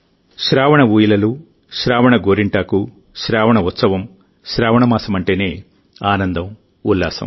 శ్రావణ ఊయలలు శ్రావణ గోరింటాకు శ్రావణ ఉత్సవం శ్రావణ మాసమంటేనే ఆనందం ఉల్లాసం